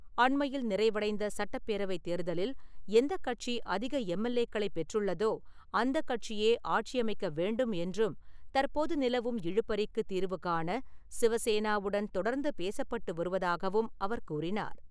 அண்மையில் நிறைவடைந்த சட்டப்பேரவைத் தேர்தலில் எந்தக் கட்சி அதிக எம்.எல்.ஏக்களைப் பெற்றுள்ளதோ அந்தக் கட்சியே ஆட்சியமைக்க வேண்டும் என்றும், தற்போது நிலவும் இழுபறிக்குத் தீர்வு காண சிவசேனாவுடன் தொடர்ந்து பேசப்பட்டு வருவதாகவும் அவர் கூறினார்.